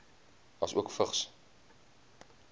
asook vigs